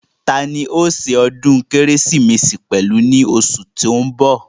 Tani òó se ọdún kérésìmesì pẹ̀lú ní osù tó ń bọ̀